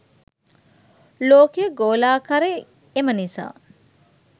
ලෝකය ගෝලාකාරයි එම නිසා